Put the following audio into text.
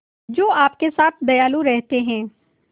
जो आपके साथ दयालु रहते हैं